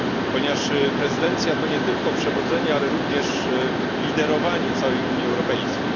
Ponieważ prezydencja to nie tylko przewodzenie, ale również liderowanie całej Unii Europejskiej.